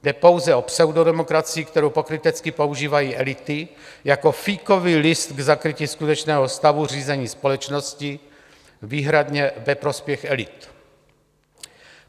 Jde pouze o pseudodemokracii, kterou pokrytecky používají elity jako fíkový list k zakrytí skutečného stavu řízení společnosti výhradně ve prospěch elit.